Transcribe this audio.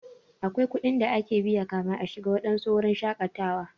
Akwai kuɗin da ake biya kafin a shiga waɗansu wurin shakatawa.